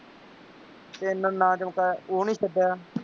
ਐਨਾ ਨਾਂ ਚਮਕਾਇਆ ਉਹ ਨਹੀਂ ਛੱਡਿਆ